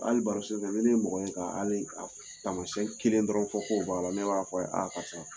Ali baro senfɛ ni ne ye mɔgɔ ye ka hali taamasɛn kelen dɔrɔn fɔ ko b'a la ne b'a fɔ a ye